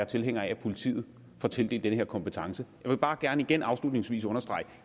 tilhænger af at politiet får tildelt den her kompetence jeg vil bare gerne igen afslutningsvis understrege at